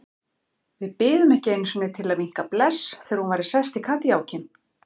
Við biðum ekki einu sinni til að vinka bless þegar hún væri sest í kádiljákinn.